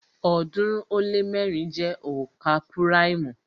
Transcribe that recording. ọ̀ọ́dúnrún ó lé mẹ́rin jẹ́ onka púráìmù